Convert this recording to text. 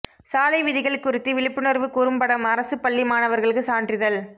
சாலை விதிகள் குறித்து விழிப்புணர்வு குறும்படம் அரசு பள்ளி மாணவர்களுக்கு சான்றிதழ்